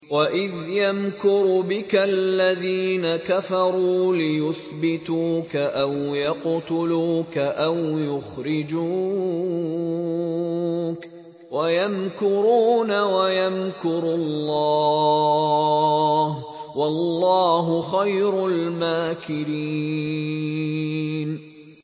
وَإِذْ يَمْكُرُ بِكَ الَّذِينَ كَفَرُوا لِيُثْبِتُوكَ أَوْ يَقْتُلُوكَ أَوْ يُخْرِجُوكَ ۚ وَيَمْكُرُونَ وَيَمْكُرُ اللَّهُ ۖ وَاللَّهُ خَيْرُ الْمَاكِرِينَ